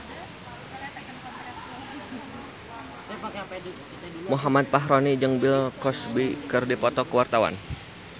Muhammad Fachroni jeung Bill Cosby keur dipoto ku wartawan